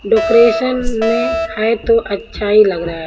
Decoration में है तो अच्छा ही लग रहा है।